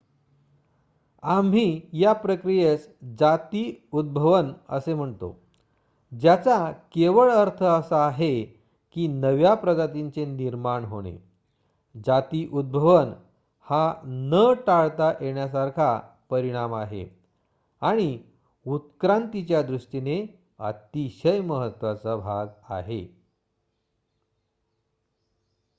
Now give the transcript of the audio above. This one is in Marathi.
आम्ही या प्रक्रियेस जाती उद्भवन असे म्हणतो ज्याचा केवळ अर्थ असा आहे की नव्या प्रजातींचे निर्माण होणे जाती उद्भवन हा न टाळता येण्यासारखा परिणाम आहे आणि उत्क्रांतीच्या दृष्टीने अतिशय महत्वाचा भाग आहे